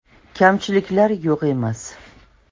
Kamchiliklar yo‘q emas.